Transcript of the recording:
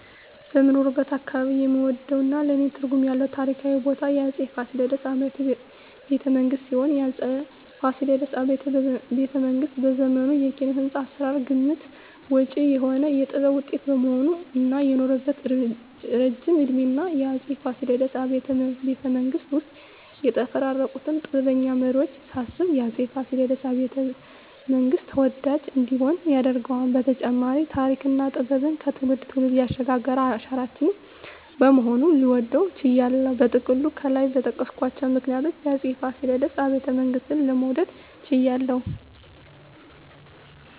በምኖርበት አካባባቢ የምወደውና ለኔ ትርጉም ያለው ታሪካዊ ቦታ የአፄ ፋሲለደስ አብያተ ቤተመንግስት ሲሆን፣ የአፄ ፋሲለደስ አብያተ ቤተመንግስት በዘመኑ የኪነ-ህንጻ አሰራር ግምት ውጭ የሆነ የጥበብ ውጤት በመሆኑ እና የኖረበት እረጅም እድሜና የአፄ ፋሲለደስ አብያተ ቤተመንግስት ውስጥ የተፈራረቁትን ጥበበኛ መሪወች ሳስብ የአፄ ፋሲለደስ አብያተ- መንግስት ተወዳጅ እንዲሆን ያደርገዋል በተጨማሪም ተሪክና ጥበብን ከትውልድ ትውልድ ያሸጋገረ አሻራችን በመሆኑ ልወደው ችያለሁ። በጥቅሉ ከላይ በጠቀስኳቸው ምክንያቶች የአፄ ፋሲለደስ አብያተ ቤተመንግስትን ለመውደድ ችያለሁ